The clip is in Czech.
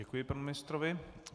Děkuji panu ministrovi.